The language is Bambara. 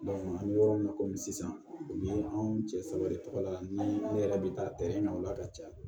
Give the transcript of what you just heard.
an bɛ yɔrɔ min na komi sisan o ye anw cɛ saba de tɔgɔ la ni ne yɛrɛ bɛ taa ɲɛw la ka caya